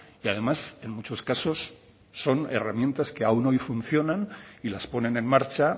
y además en muchos casos son herramientas que aun hoy funcionan y las ponen en marcha